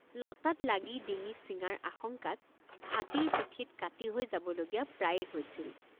লতাত লাগি ডিঙি ছিঙাৰ আশঙ্কাত হাতীৰ পিঠিত কাতি হৈ যাব লগীয়া প্ৰায়ে হৈছিল।